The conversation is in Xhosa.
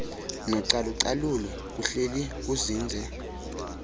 nocalucalulo kuhleli kuzinze